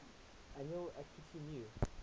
annual akitu new